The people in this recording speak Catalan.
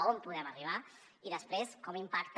on podem arribar i després com impacta